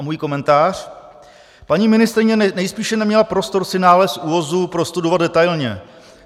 A můj komentář: Paní ministryně nejspíše neměla prostor si nález ÚOHS prostudovat detailně.